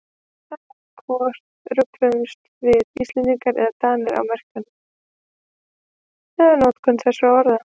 Það er hvort rugluðumst við Íslendingar eða Danir á merkingu eða notkun þessara orða.